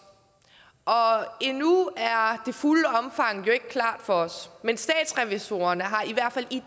og endnu er det fulde omfang jo ikke klart for os men statsrevisorerne har i hvert fald i